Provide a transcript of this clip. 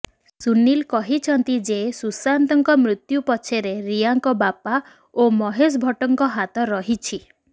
ସୁନିଲ କହିଛନ୍ତି ଯେ ସୁଶାନ୍ତଙ୍କ ମୃତ୍ୟୁ ପଛରେ ରିୟାଙ୍କ ବାପା ଓ ମହେଶ ଭଟ୍ଟଙ୍କ ହାତ ରହିଛି